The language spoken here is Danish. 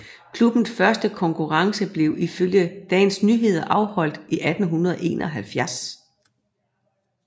Klubbens første konkurrence blev ifølge Dagens Nyheder afholdt i 1871